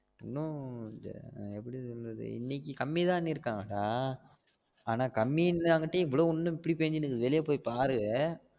இன்னு எப்புடி சொல்றது இன்னைக்கு கம்மி தாணு இருக்காக டா ஆனா கம்மி நா மட்டும் இவ்ளோ இன்னும் இப்டி பேஞ்சிட்டு இருக்கு வெளிய போயி பாரு